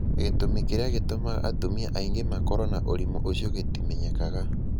Gĩtũmi kĩrĩa gĩtũmaga atumia aingĩ makorũo na ũrimũ ũcio gĩtimenyekaga.